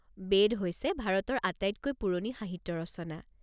বেদ হৈছে ভাৰতৰ আটাইতকৈ পুৰণি সাহিত্য ৰচনা।